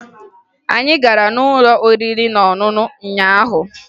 Anyị gara n'ụlọ oriri na ọṅụṅụ ụnyaahụ